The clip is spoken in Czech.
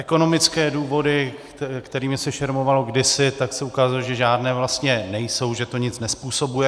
Ekonomické důvody, kterými se šermovalo kdysi, tak se ukázalo, že žádné vlastně nejsou, že to nic nezpůsobuje.